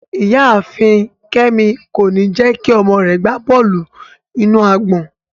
Iyaafin Kemi ko ni jẹ ki ọmọ rẹ gba bọọlu-inu-agbọn